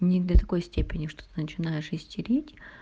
не до такой степени что ты начинаешь истерить